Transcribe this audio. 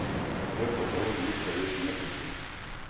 у тебя в каталоге есть ходячие мертвецы